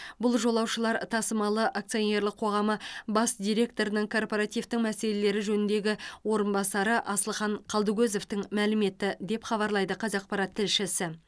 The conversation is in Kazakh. бұл жолаушылар тасымалы акционерлік қоғамы бас директорының корпоративтің мәселелері жөніндегі орынбасары асылхан қалдыкозовтің мәліметі деп хабарлайды қазақпарат тілшісі